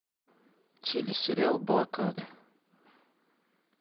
телесериал блокада